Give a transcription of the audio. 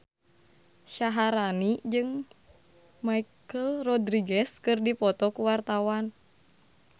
Syaharani jeung Michelle Rodriguez keur dipoto ku wartawan